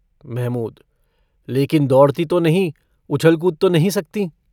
महमूद - लेकिन दौड़ती तो नहीं। उछल-कूद तो नहीं सकतीं।